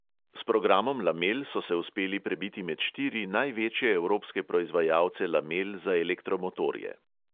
S programom lamel so se uspeli prebiti med štiri največje evropske proizvajalce lamel za elektromotorje.